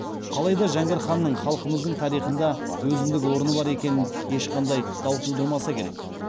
қалайда жәңгір ханның халқымыздың тарихында өзіндік орны бар екені ешқандай дау тудырмаса керек